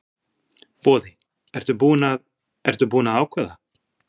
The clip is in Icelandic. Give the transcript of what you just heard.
Boði: Ertu búinn að, ertu búinn að ákveða?